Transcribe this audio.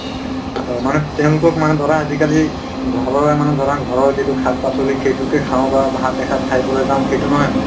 অ, মানে তেওঁলোকক মানে ধৰা আজিকালি ঘৰৰে মানে ধৰা ঘৰৰ যিটো শাক-পাচলি সেইটোকে খাওঁ বা ভাত এসাজ খাই পেলাই যাওঁ সেইটো নহয় মানে